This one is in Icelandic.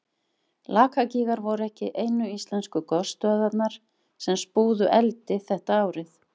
Lakagígar voru ekki einu íslensku gosstöðvarnar sem spúðu eldi þetta árið.